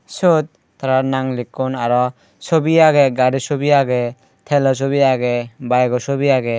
siyot tara nang likkon aro sobi agey gari sobi agey telo sobi agey bayego sobi agey.